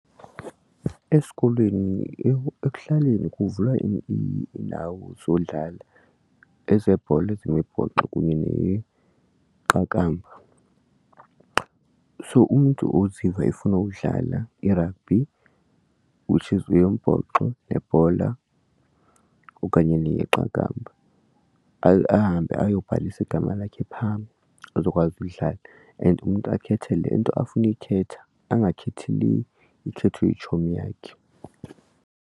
Esikolweni ekuhlaleni kuvulwa iindawo zodlala ezebhola ezemibhoxo kunye neqakamba. So umntu oziva efuna uwudlala irabhi which is yombhoxo nebhola okanye neyeqakamba ahambe ayobhalisa igama lakhe phaa azokwazi uyidlala and umntu akhethe le nto afuna kuyikhetha angakhethi le ikhethwe yitshomi yakhe.